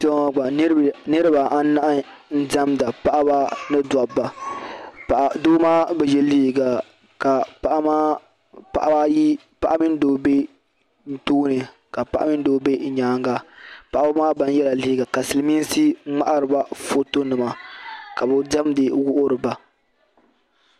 Kpeŋɔ gba niribi anahi n demda, paɣaba mini daba doo maa bɛ ye liiga ka paɣa mini doo be ɔ tɔɔni, ka paɣa mini doo be nyaaŋa paɣibi maa ban yela liiga ka silimiinsi mŋahiroba fɔtɔ nima kabi demdi n wuhiriba